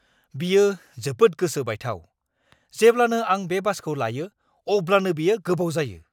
बेयो जोबोद गोसो बायथाव! जेब्लानो आं बे बासखौ लायो, अब्लानो बेयो गोबाव जायो।